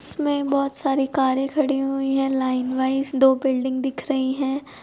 इसमें बहुत सारी कारे खड़ी हुई है लाइनवाईज दो बिल्डिंग दिख रही है।